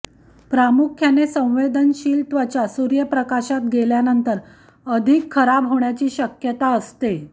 प्रामुख्याने संवेदनशील त्वचा सूर्यप्रकाशात गेल्यानंतर अधिक खराब होण्याची शक्यता असते